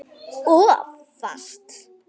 Of fast.